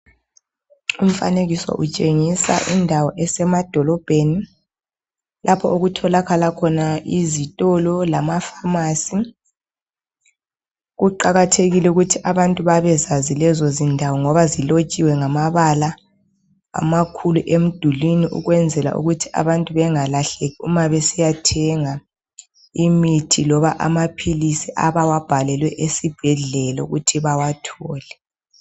Umfanekiso utshengisa indawo esemadolobheni lapho okutholakala khona izitolo lamapharmacy kuqakathekile ukuthi abantu babezazi lezo zindawo ngoba zilotshiwe ngamabala amakhulu emdulwini ukwenzela ukuthi abantu bengalahleki uma besiyathenga imithi loba amaphilisi abawabhalelwe esibhedlela ukuthi bawathole.